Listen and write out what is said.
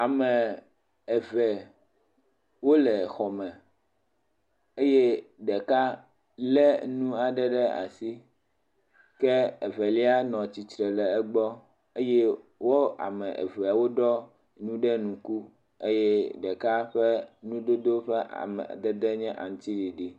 Ame eve wole exɔ me eye ɖeka lénu aɖe ɖe asi eye evelia nɔ egbɔ eye wo ame eve wo ɖɔ nu ɖe ŋku eye ɖeka ƒe nudodo ƒe amadede nye aŋutiɖiɖi.